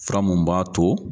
Furamu b'a to